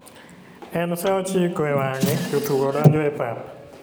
En saa ochiko e wange jotugo donjo e pap.